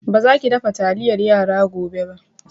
Ba za ki dafa taliyar yara gobe ba!